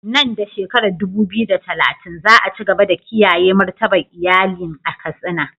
Nan da shekarar 2030, za a ci gaba da kiyaye martabar iyalin a Katsina.